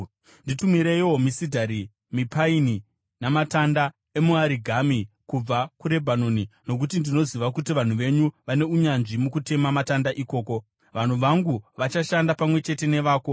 “Nditumireiwo misidhari, mipaini namatanda emiarigumi kubva kuRebhanoni nokuti ndinoziva kuti vanhu venyu vane unyanzvi mukutema matanda ikoko. Vanhu vangu vachashanda pamwe chete nevako